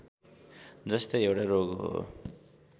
जस्तै एउटा रोग हो